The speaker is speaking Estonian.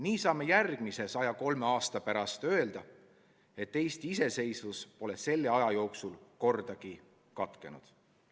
Nii saame järgmise 103 aasta pärast öelda, et Eesti iseseisvus pole selle aja jooksul kordagi katkenud.